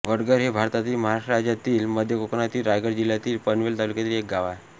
वडघर हे भारतातील महाराष्ट्र राज्यातील मध्य कोकणातील रायगड जिल्ह्यातील पनवेल तालुक्यातील एक गाव आहे